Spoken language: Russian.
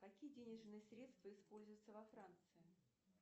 какие денежные средства используются во франции